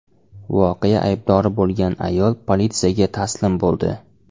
Voqea aybdori bo‘lgan ayol politsiyaga taslim bo‘ldi.